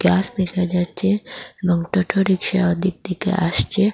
গাস দেখা যাচ্ছে এবং টোটো রিক্সা ওদিক থেকে আসছে।